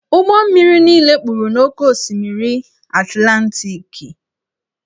Ụgbọ mmiri niile kpuru n'oké osimiri Atlantiki.